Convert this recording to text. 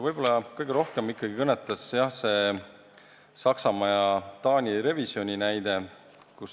Võib-olla kõige rohkem kõnetas meid see Saksamaa ja Taani revisjoni näide.